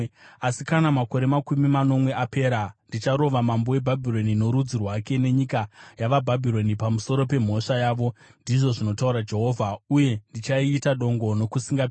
“Asi kana makore makumi manomwe apera, ndicharova mambo weBhabhironi norudzi rwake, nenyika yavaBhabhironi, pamusoro pemhosva yavo,” ndizvo zvinotaura Jehovha, “uye ndichaiita dongo nokusingaperi.